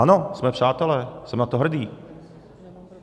Ano, jsme přátelé, jsem na to hrdý.